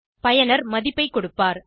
பயனர் மதிப்பை கொடுப்பார்